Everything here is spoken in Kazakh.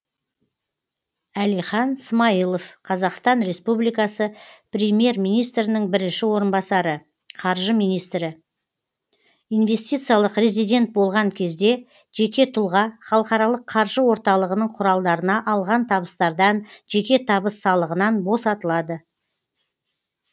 әлихан смайылов қазақстан республикасы премьер министрінің бірінші орынбасары қаржы министрі инвестициялық резидент болған кезде жеке тұлға халықаралық қаржы орталығының құралдарына алған табыстардан жеке табыс салығынан босатылады